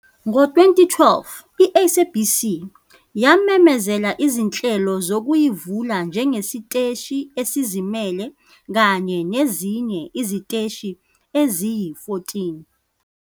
Ngo-2012, i-SABC yamemezela izinhlelo zokuyivula njengesiteshi esizimele kanye nezinye iziteshi eziyi-14